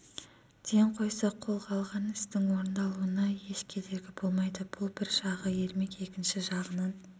ден қойса қолға алған істің орындалуына еш кедергі болмайды бұл бір жағы ермек екінші жағынан